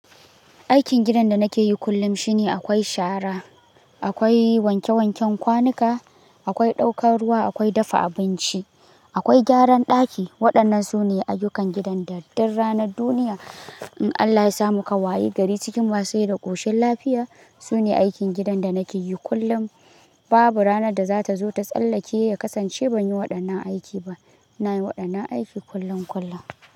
Aikin gidan da nake yi kullum shine akwai shara, akwai wanke wanken kwanuka, akwai ɗaukar ruwa, akwai dafa abinci, akwai gyaran ɗaki. Waɗannan su ne ayyukan gidan da duk ranar duniya, in Allah ya samu ka wayi gari cikin masurai da ƙoshin lafiya, sune aikin gidan da nake yi kullum. Babu ranar da za ta zo ta tsallake ya kasance ban yi waɗannan aiki ba. Na yi waɗannan aiki kullum kullum.